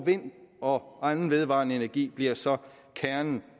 vind og anden vedvarende energi bliver så kernen